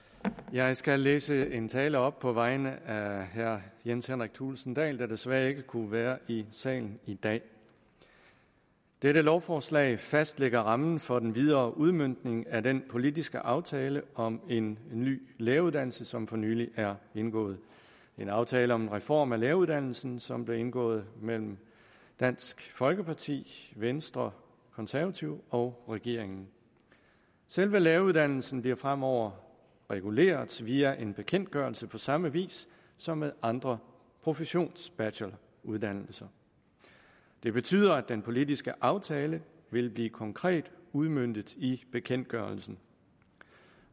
jeg skal læse en tale op på vegne af herre jens henrik thulesen dahl der desværre ikke kunne være i salen i dag dette lovforslag fastlægger rammen for den videre udmøntning af den politiske aftale om en ny læreruddannelse som for nylig er indgået en aftale om en reform af læreruddannelsen som blev indgået mellem dansk folkeparti venstre konservative og regeringen selve læreruddannelsen bliver fremover reguleret via en bekendtgørelse på samme vis som med andre professionsbacheloruddannelser det betyder at den politiske aftale ville blive konkret udmøntet i bekendtgørelsen